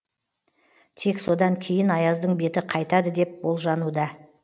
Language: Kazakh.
тек содан кейін аяздың беті қайтады деп болжануда